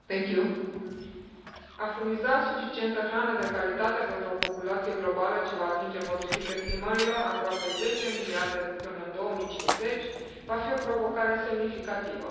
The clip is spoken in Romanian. Doamnă președintă, a furniza suficientă hrană de calitate pentru populația globală ce va atinge, potrivit estimărilor, aproape 10 miliarde până în 2050 va fi o provocare semnificativă.